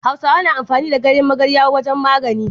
Hausawa na amfani da ganyan magarwa wajan magani